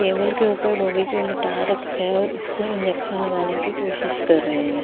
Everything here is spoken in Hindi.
टेबल के ऊपर डॉगी को लेटा रखा है और इसको इंजेक्शन लगाने की कोशिश कर रहे है।